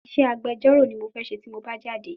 Isé agbjọ́rọ̀ ni mo fẹ́ ṣe tí mo bá jáde